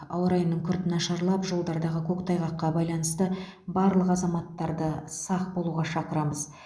ауа райының күрт нашарлап жолдардағы көктайғаққа байланысты барлық азаматтарды сақ болуға шақырамыз